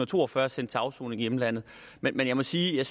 to og fyrre er sendt til afsoning i hjemlandet men jeg må sige at